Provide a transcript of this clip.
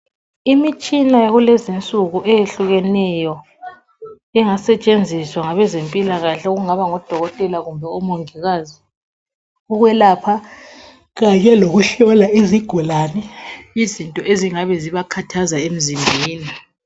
Imitshina yakulezinsuku eyehlukeneyo engasetshenziswa ngabe zempilakahle okungaba ngodokotela kumbe omongikazi ukwelapha kanye lokuhlola izigulane izinto ezingabe zibakhathaza emzimbeni